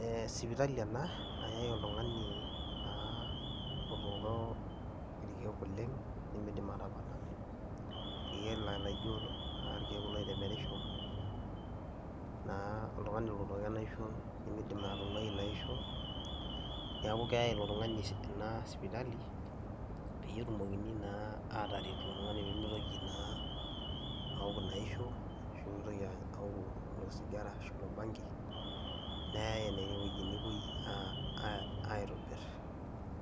Eeh sipitali ena nayai oltung'ani naa otooko irkeek oleng' nemiidim atapala, irkeek laa laijo irkeek kulo oitemerisho naa oltung'ani lotooko enaisho nemiidim atung'wai ina aisho, neeku keyai ilo tung'ani ena sipitali peyie etumokini naa ataret ilo tung'ani pee mitoki naa awok ina aisho ashu pee mitoki awok ilo sigara, ashu ilo bangi. Neyai ene wueji nepuoi aitobir,